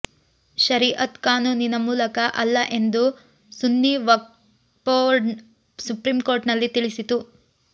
ಶರೀಅತ್ ಕಾನೂನಿನ ಮೂಲಕ ಅಲ್ಲ ಎಂದು ಸುನ್ನಿ ವಕ್ಫ್ ಬೋರ್ಡ್ ಸುಪ್ರೀಂಕೋರ್ಟಿನಲ್ಲಿ ತಿಳಿಸಿತು